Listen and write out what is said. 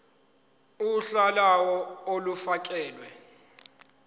uhla lawo olufakelwe